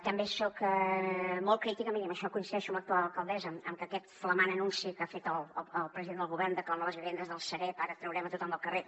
també soc molt crítica miri amb això coincideixo amb l’actual alcaldessa que aquest flamant anunci que ha fet el president del govern de que amb les vivendes de la sareb ara traurem tothom del carrer